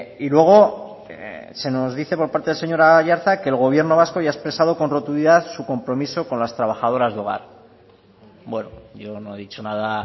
y luego se nos dice por parte del señor aiartza que el gobierno vasco ya ha expresado con rotundidad su compromiso con las trabajadoras de hogar bueno yo no he dicho nada